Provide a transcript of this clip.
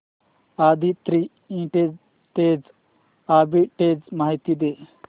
Aditri industries arbitrage माहिती दे